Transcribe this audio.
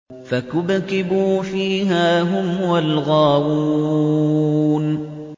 فَكُبْكِبُوا فِيهَا هُمْ وَالْغَاوُونَ